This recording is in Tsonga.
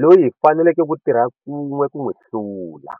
loyi hi faneleke ku tirha kun'we ku n'wi hlua.